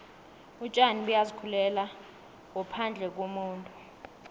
utjani buyazi khulela ngophandle kumuntu